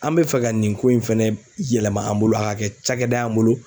An bɛ fɛ ka nin ko in fɛnɛ yɛlɛma an bolo a ka kɛ cakɛda ye an bolo.